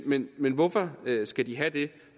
men men hvorfor skal de have det